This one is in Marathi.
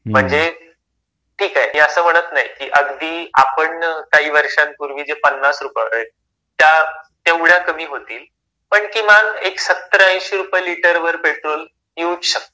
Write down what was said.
म्हणजे ठीक आहे मी असं म्हणत नाही की अगदी आपण काही वर्षांपूर्वी जे पन्नास रुपये तेवढ्या कमी होतील पण किमान एक 70-80 रुपये लिटर वर पेट्रोल येऊच शकत.